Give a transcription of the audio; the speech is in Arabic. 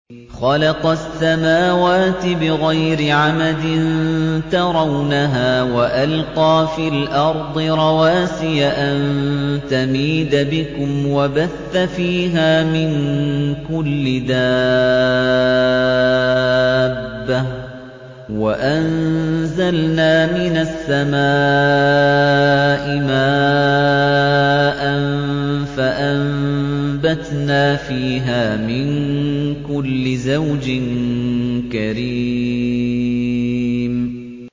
خَلَقَ السَّمَاوَاتِ بِغَيْرِ عَمَدٍ تَرَوْنَهَا ۖ وَأَلْقَىٰ فِي الْأَرْضِ رَوَاسِيَ أَن تَمِيدَ بِكُمْ وَبَثَّ فِيهَا مِن كُلِّ دَابَّةٍ ۚ وَأَنزَلْنَا مِنَ السَّمَاءِ مَاءً فَأَنبَتْنَا فِيهَا مِن كُلِّ زَوْجٍ كَرِيمٍ